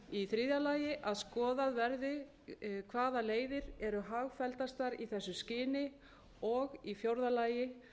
í þriðja lagi að skoðað verði hvaða leiðir eru hagfelldastar í því skyni og í fjórða lagi